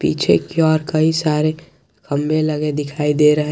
पीछे की ओर कई सारे खंभे लगे दिखाई दे रहे है।